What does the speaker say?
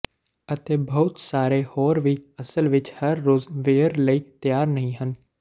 ਅਤੇ ਬਹੁਤ ਸਾਰੇ ਹੋਰ ਵੀ ਅਸਲ ਵਿੱਚ ਹਰ ਰੋਜ਼ ਵੀਅਰ ਲਈ ਤਿਆਰ ਨਹੀ ਹਨ